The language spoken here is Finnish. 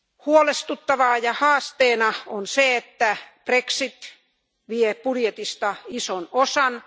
Huolestuttavana haasteena on se, että brexit vie budjetista ison osan.